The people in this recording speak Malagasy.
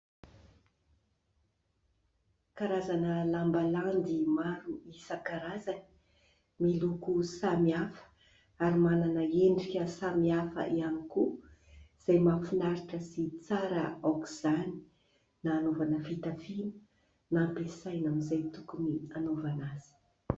Karazana lamba landy maro isan-karazany miloko samihafa ary manana endrika samihafa ihany koa izay mahafinaritra sy tsara aoka izany na anaovana fitafiana na ampiasaina amin'izay tokony anaovana azy.